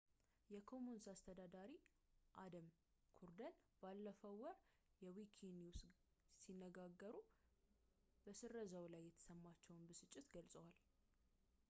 የ commons አስተዳዳሪ አደም ኩርደን ባለፈው ወር ከ wikinews ጋር ሲነጋገሩ በስረዛው ላይ የተሰማቸውን ብስጭት ገልጸዋል